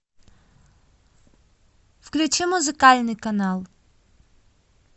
включи музыкальный канал